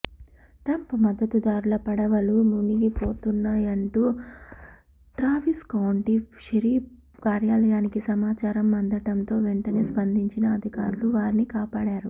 Trump మద్దతుదారుల పడవలు మునిగిపోతున్నయాంటూ ట్రావిస్కౌంటీ షెరీఫ్ కార్యాలయానికి సమాచారం అందటంతో వెంటనే స్పందించిన అధికారులు వారిని కాపాడారు